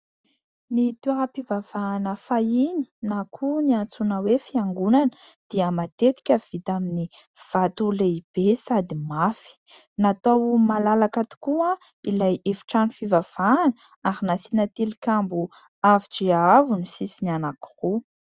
Ny toeram-pivavahana fahiny na koa antsoina hoe : fiangonana; dia matetika vita amin'ny vato lehibe sady mafy. Natao malalaka tokoa ilay efitrano fivavahana ary nasiana tilikambo avo dia avo ny sisiny anankiroa.